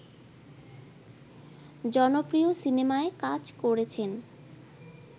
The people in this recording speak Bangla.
জনপ্রিয় সিনেমায় কাজ করেছেন